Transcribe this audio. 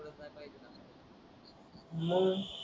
मंग,